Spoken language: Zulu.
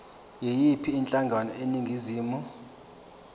yiyiphi inhlangano eningizimu